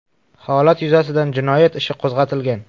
Holat yuzasidan jinoyat ishi qo‘zg‘atilgan.